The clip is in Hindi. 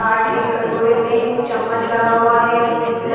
पाठ है कटोरे में चम्मच लगा हुआ है इसमें--